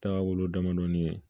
Taga wolo damadɔnin ye